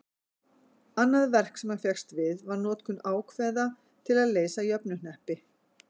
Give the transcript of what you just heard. annað verk sem hann fékkst við var notkun ákveða til að leysa jöfnuhneppi